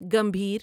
گمبھیر